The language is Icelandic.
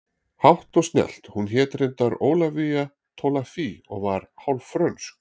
Hátt og snjallt hún hét reyndar Ólafía Tolafie og var hálf frönsk